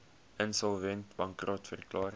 insolvent bankrot verklaar